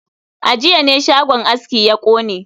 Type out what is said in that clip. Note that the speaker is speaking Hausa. A jiya ne shagon aski ya kone